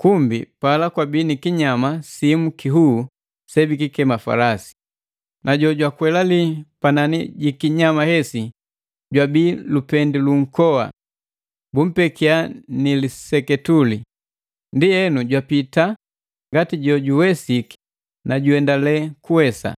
kumbi pala kwabi ni kinyama simu kihuu sebikikema falasi. Na jojwakwelali panani ji kinyama sehesi jwabii lupendi lunkoa, bumpekia ni liseketuli. Ndienu jwapita ngati jo juwesiki na juendale kuwesa.